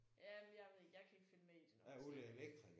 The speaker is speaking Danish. Jamen jeg ved ikke jeg kan ikke følge med i det når han snakker